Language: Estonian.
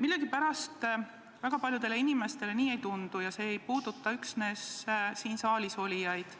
Millegipärast väga paljudele inimestele nii ei tundu, ja see ei puuduta üksnes siin saalis olijaid,